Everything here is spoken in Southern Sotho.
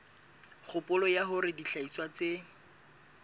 kgopolo ya hore dihlahiswa tse